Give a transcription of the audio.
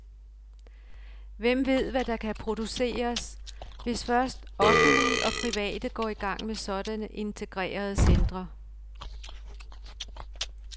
Hvem ved, hvad der kan produceres, hvis først offentlige og private går i gang med sådanne integrerede centre?